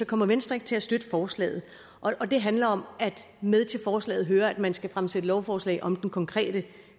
kommer venstre ikke til at støtte forslaget og det handler om at med til forslaget hører at man skal fremsætte lovforslag om den konkrete